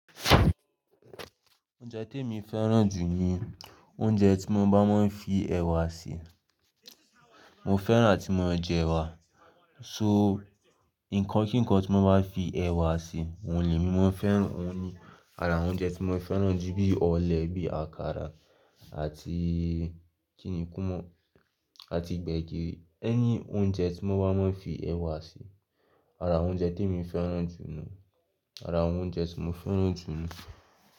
Oúnjẹ temi fẹ́ràn jù ni oúnjẹ tí wọ́n bá máa ń fi ẹ̀wà se. Mo fẹ́ràn ati mo jẹ̀ ewà, so nǹkan kí nǹkan tí wọ́n bá fi ẹ̀wà se, oun lè mi. Mo fẹ́ràn òun ni. Àrà oúnjẹ tí mo fẹ́ràn jù bí ọ̀lẹ̀, bí àkàrà àti kìnìún kómọ àti gbẹ̀gìrì, ẹni oúnjẹ tí wọ́n bá máa ń fi ẹ̀wà se Àrà awon oúnjẹ tí èmi fẹ́ràn jù lọ, àrà awon oúnjẹ tí mo fẹ́ràn jù lọ.